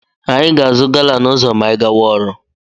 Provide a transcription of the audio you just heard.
Anyị ga-azụ gala n'ụzọ ma anyị gawa ọrụ.